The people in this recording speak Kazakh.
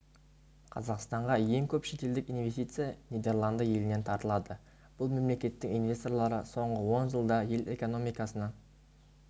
қазақстанға ең көп шетелдік инвестиция нидерланды елінен тартылады бұл мемлекеттің инвесторлары соңғы он жылда ел экономикасына